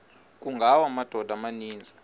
kungawa amadoda amaninzi